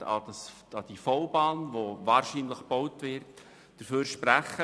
Denken Sie an die V-Bahn, die wahrscheinlich gebaut werden wird.